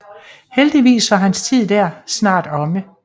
Heldigvis var hans tid der snart omme